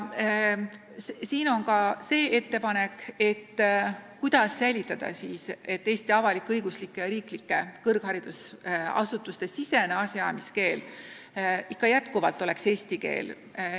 Mul on ka ettepanek, kuidas tagada, et Eesti avalik-õiguslike, riiklike kõrgharidusasutuste asjaajamiskeel oleks jätkuvalt eesti keel.